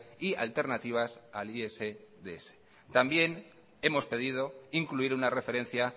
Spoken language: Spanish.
y alternativas al isds también hemos pedido incluir una referencia